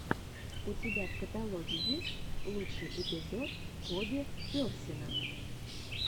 у тебя в каталоге есть лучший эпизод коби персина